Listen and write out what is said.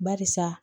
Barisa